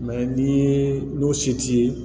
ni ye n'o se t'i ye